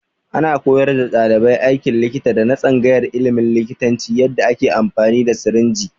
Ana koyar da ɗaliban aikin likita na tsangayar ilimin likitanci yanda ake amfani da sirinji